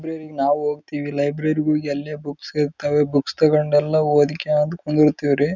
notes ಮಾಡ್ಕೋಬೇಕು ಯಾವುದೇ ರೀತಿಯ ಫೋನ್ ಯೂಸ್ ಮಾಡಕೂಡುವುದು